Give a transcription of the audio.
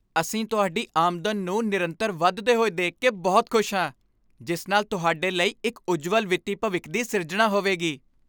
ਅਸੀਂ ਤੁਹਾਡੀ ਆਮਦਨ ਨੂੰ ਨਿਰੰਤਰ ਵਧਦੇ ਹੋਏ ਦੇਖ ਕੇ ਬਹੁਤ ਖੁਸ਼ ਹਾਂ, ਜਿਸ ਨਾਲ ਤੁਹਾਡੇ ਲਈ ਇੱਕ ਉੱਜਵਲ ਵਿੱਤੀ ਭਵਿੱਖ ਦੀ ਸਿਰਜਣਾ ਹੋਵੇਗੀ!